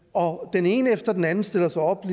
og den ene efter den anden stiller sig op